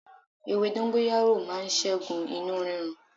Ewé dóngóyárò màa ṣẹ́gun inú rírun